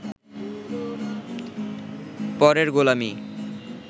পরের গোলামি